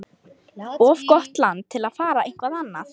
Of gott land til að fara eitthvað annað.